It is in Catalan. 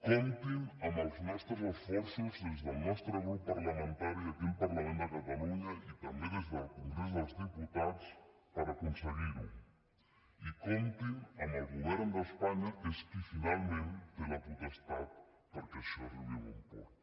comptin amb els nostres esforços des del nostre grup parlamentari aquí al parlament de catalunya i també des de congrés dels diputats per aconseguir ho i comptin amb el govern d’espanya que és qui finalment té la potestat perquè això arribi a bon port